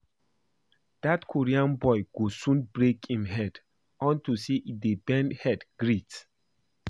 Dat Korean boy go soon break im head unto say he dey bend head greet